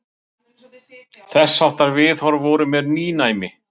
Þessháttar viðhorf voru mér nýnæmi.